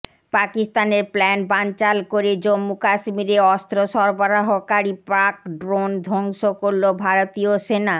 পাকিস্তানের প্ল্যান বানচাল করে জম্মু কাশ্মীরে অস্ত্র সরবরাহকারী পাক ড্রোন ধ্বংস করলো ভারতীয় সেনা